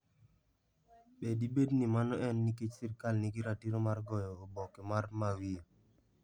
Be dibed ni mano en nikech sirkal nigi ratiro mar goyo oboke mar Mawio?